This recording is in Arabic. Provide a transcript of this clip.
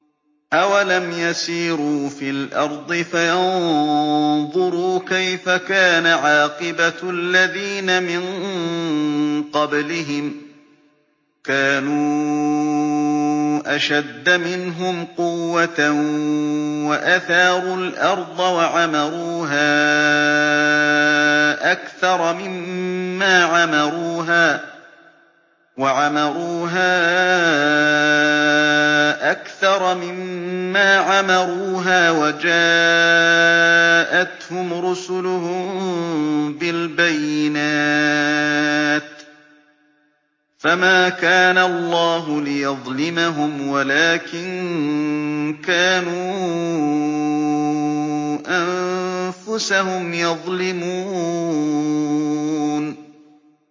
أَوَلَمْ يَسِيرُوا فِي الْأَرْضِ فَيَنظُرُوا كَيْفَ كَانَ عَاقِبَةُ الَّذِينَ مِن قَبْلِهِمْ ۚ كَانُوا أَشَدَّ مِنْهُمْ قُوَّةً وَأَثَارُوا الْأَرْضَ وَعَمَرُوهَا أَكْثَرَ مِمَّا عَمَرُوهَا وَجَاءَتْهُمْ رُسُلُهُم بِالْبَيِّنَاتِ ۖ فَمَا كَانَ اللَّهُ لِيَظْلِمَهُمْ وَلَٰكِن كَانُوا أَنفُسَهُمْ يَظْلِمُونَ